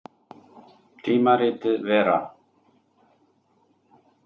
Tímaritið Vera.